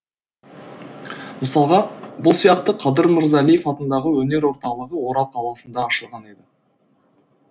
мысалға бұл сияқты қадыр мырзалиев атындағы өнер орталығы орал қаласында ашылған еді